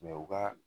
u ka